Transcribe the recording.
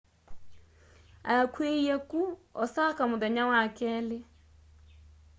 akw'iiie ku osaka muthenya wa wakeli